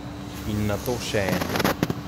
In nato še ena.